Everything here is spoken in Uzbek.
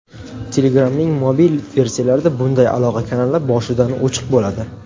Telegram’ning mobil versiyalarida bunday aloqa kanali boshidan o‘chiq bo‘ladi.